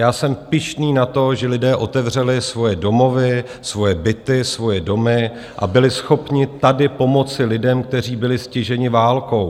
Já jsem pyšný na to, že lidé otevřeli svoje domovy, svoje byty, svoje domy a byli schopni tady pomoci lidem, kteří byli stiženi válkou.